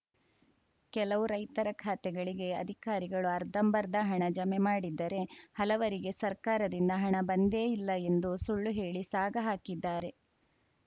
ಕೆಲವು ರೈತರ ಖಾತೆಗಳಿಗೆ ಅಧಿಕಾರಿಗಳು ಅರ್ಧಂಬರ್ಧ ಹಣ ಜಮೆ ಮಾಡಿದ್ದರೆ ಹಲವರಿಗೆ ಸರ್ಕಾರದಿಂದ ಹಣ ಬಂದೇ ಇಲ್ಲ ಎಂದು ಸುಳ್ಳು ಹೇಳಿ ಸಾಗಹಾಕಿದ್ದಾರೆ